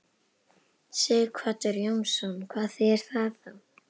Sighvatur Jónsson: Hvað þýðir það þá?